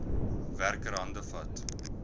werker hande vat